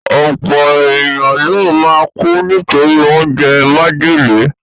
Ọ̀pọ̀ èèyàn ló máa kú nítorí oúnjẹ májèlé